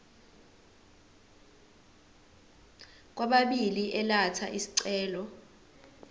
kwababili elatha isicelo